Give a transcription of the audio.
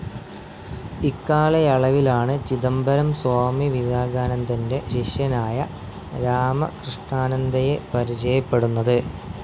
ഇക്കാലയളവിലാണ് ചിദംബരം സ്വാമി വിവേകാനാന്ദന്റെ ശിഷ്യനായ രാമകൃഷ്ണനാനന്ദയെ പരിചയപ്പെടുന്നത്.